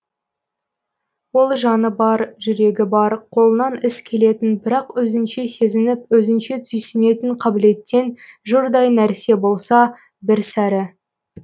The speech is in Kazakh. ол жаны бар жүрегі бар қолынан іс келетін бірақ өзінше сезініп өзінше түйсінетін қабілеттен жұрдай нәрсе болса бір сәрі